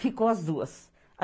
Ficou as duas.